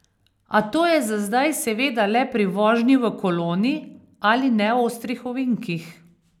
A to je za zdaj seveda le pri vožnji v koloni ali neostrih ovinkih.